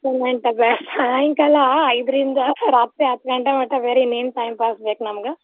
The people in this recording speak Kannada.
Entertainment ಸಾಯಂಕಾಲ ಐದ್ರಿಂದ ರಾತ್ರಿ ಹತ್ ಗಂಟೆ ಮಟಾ ಬೇರೆ ಇನೇನ್ time pass ಬೇಕ್ ನಮ್ಗ.